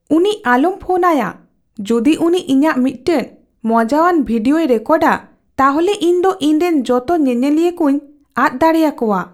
ᱩᱱᱤ ᱟᱞᱚᱢ ᱯᱷᱳᱱᱟᱭᱟ ᱾ ᱡᱩᱫᱤ ᱩᱱᱤ ᱤᱧᱟᱜ ᱢᱤᱫᱴᱟᱝ ᱢᱚᱡᱟᱣᱟᱱ ᱵᱷᱤᱰᱤᱭᱳᱭ ᱨᱮᱠᱚᱨᱰᱼᱟᱹ ᱛᱟᱦᱚᱞᱮ ᱤᱧ ᱫᱚ ᱤᱧᱨᱮᱱ ᱡᱚᱛᱚ ᱧᱮᱧᱮᱞᱤᱭᱟᱹ ᱠᱚᱧ ᱟᱫ ᱫᱟᱲᱮᱭᱟᱠᱚᱣᱟ ᱾